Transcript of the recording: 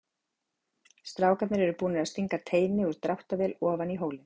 Strákarnir eru búnir að stinga teini úr dráttarvél ofan í hólinn.